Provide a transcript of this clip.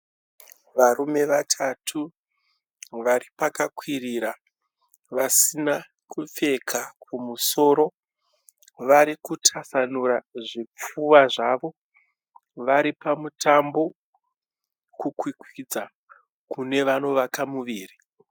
Varume vatatu vari pakakwirira vasina kupfeka kumusoro. Varikutasanura zvipfuva zvavo, vari pamutambo kukwikwidza kune vanovaka muviri.